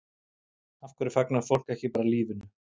Af hverju fagnar fólk ekki bara lífinu?